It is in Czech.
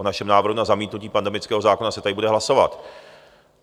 O našem návrhu na zamítnutí pandemického zákona se tady bude hlasovat.